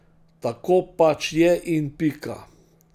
Tako pač je in pika.